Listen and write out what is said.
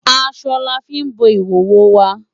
Aṣọ la fí ń bo ìhòhò wa.